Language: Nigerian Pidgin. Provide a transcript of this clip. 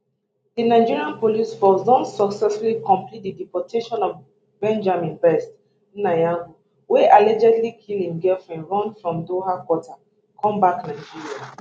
di nigeria police force don successfully complete di deportation of benjamin best nnayereugo wey allegedly kill im girlfriend run from doha qatar come back nigeria